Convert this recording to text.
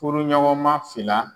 Furuɲɔgɔnma fila.